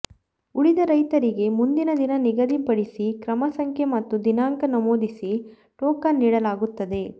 ಉಳಿದ ರೈತರಿಗೆ ಮುಂದಿನ ದಿನ ನಿಗದಿ ಪಡಿಸಿ ಕ್ರಮಸಂಖ್ಯೆ ಮತ್ತು ದಿನಾಂಕ ನಮೂದಿಸಿ ಟೋಕನ್ ನೀಡಲಾಗುತ್ತದೆ